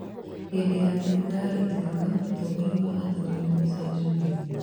Hĩndĩ ya thigũkũ ya Ituĩka, ũtongoria wa athuri nĩ ũcenjagio.